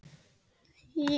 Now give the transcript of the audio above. Þá held ég bara áfram.